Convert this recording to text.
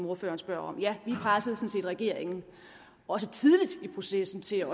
ordføreren spørger om ja vi pressede sådan set regeringen også tidligt i processen til at